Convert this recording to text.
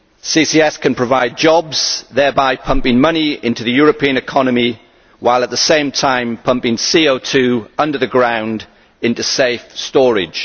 CCS can provide jobs thereby pumping money into the European economy while at the same time pumping CO under the ground into safe storage.